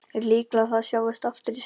Er líklegt að það sjáist aftur í sumar?